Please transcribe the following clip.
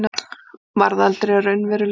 varð aldrei að raunveruleika.